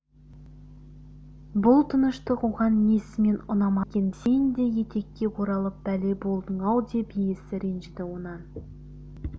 бұл тыныштық оған несімен ұнамады екен сен де етекке оралып бәле болдың-ау деп иесі ренжіді онан